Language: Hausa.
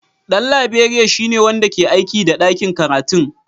Dan Laberiya shine wanda ke aiki a ɗakin karatu.